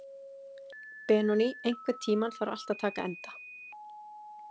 Benoný, einhvern tímann þarf allt að taka enda.